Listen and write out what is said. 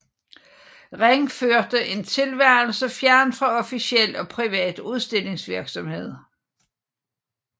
Ring førte en tilværelse fjernt fra officiel og privat udstillingsvirksomhed